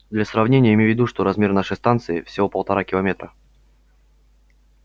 для сравнения имей в виду что размер нашей станции всего полтора километра